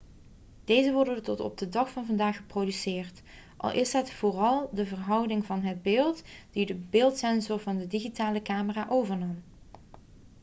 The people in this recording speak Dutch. deze worden tot op de dag van vandaag geproduceerd al is het vooral de verhouding van het beeld die de beeldsensor van de digitale camera overnam